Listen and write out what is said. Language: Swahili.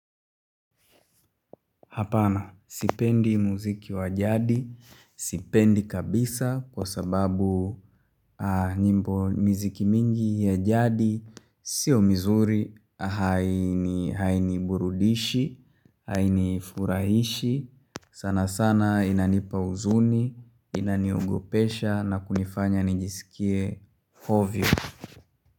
Hapana, sipendi muziki wa jadi, sipendi kabisa kwa sababu nyimbo muziki mingi ya jadi, sio mizuri, haini burudishi, haini furahishi, sana sana inanipa huzuni, inaniogopesha na kunifanya nijisikie ovyo.